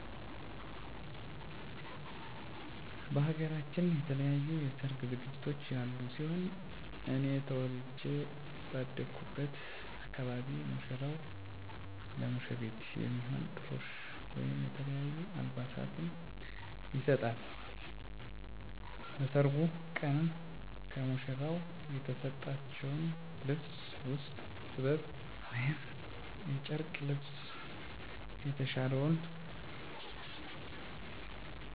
በሃገራችን የተለያዩ የሰርግ ዝግጅቶች ያሉ ሲሆን እኔ ተወልጀ ባደኩበት አካባቢ ሙሽራው ለሙሽሪት የሚሆን ጥሎሽ ወይም የተለያዩ አልባሳትን ይሰጣል። በሰርጉ ቀንም ከሙሽራው የተሰጠችውን ልብስ ውስጥ ጥበብ ወይም የጨርቅ ልብሰ የተሻለውን መርጣ ትለብሳለች። በቤተክርስቲያን የሚደረግ የጋብቻ አለባበስ ደግሞ ከባህላዊው አለባበስ የተለየ ሲሆን ሁለቱም ሙሽራዎች የካባ አልባሳትን በመልበስ እና ከራሳቸው ላይ የአክሊል ዘውድ በማድረግ የጋብቻ ስርአቱን ያከብራሉ።